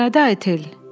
İradə Etel.